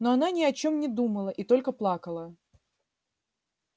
но она ни о чём не думала и только плакала